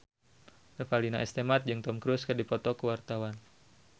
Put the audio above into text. Revalina S. Temat jeung Tom Cruise keur dipoto ku wartawan